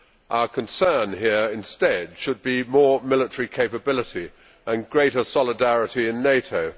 Our concern here instead should be more military capability and greater solidarity in NATO.